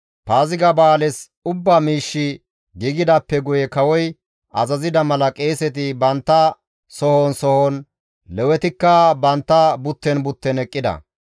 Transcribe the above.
Paaziga ba7aales ubba miishshi giigidaappe guye kawoy azazida mala qeeseti bantta sohon sohon, Lewetikka bantta butten butten eqqida.